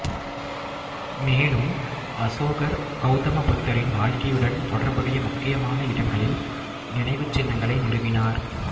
மேலும் அசோகர் கௌதம புத்தரின் வாழ்க்கையுடன் தொடர்புடைய முக்கியமான இடங்களில் நினைவுச் சின்னங்களை நிறுவினார்